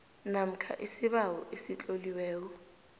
namkha isibawo esitloliweko